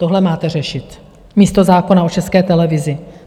Tohle máte řešit místo zákona o České televizi.